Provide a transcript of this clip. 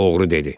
Oğru dedi.